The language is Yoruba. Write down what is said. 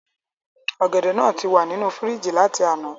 Ògèdè náà tí wà nínú fírìjì láti àná